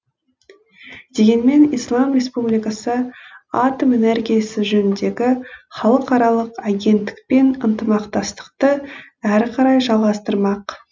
дегенмен ислам республикасы атом энергиясы жөніндегі халықаралық агенттікпен ынтымақтастықты әрі қарай жалғастырмақ